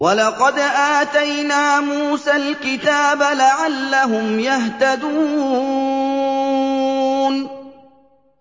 وَلَقَدْ آتَيْنَا مُوسَى الْكِتَابَ لَعَلَّهُمْ يَهْتَدُونَ